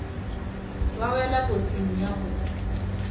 ba wela kotsing ya go